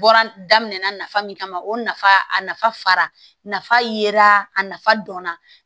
Bɔra daminɛna nafa min kama o nafa a nafa fara nafa yera a nafa dɔnna